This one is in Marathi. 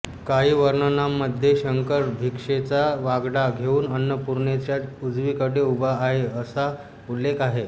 काही वर्णनांमध्ये शंकर भिक्षेचा वाडगा घेऊन अन्नपूर्णेच्या उजवीकडे उभा आहे असा उल्लेख आहे